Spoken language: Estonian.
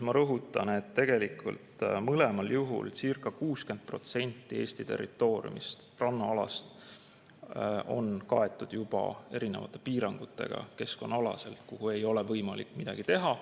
Ma rõhutan, et tegelikult mõlemal juhul circa 60% Eesti territooriumi rannaalast on kaetud juba erinevate keskkonnaalaste piirangutega ja sinna ei ole võimalik midagi teha.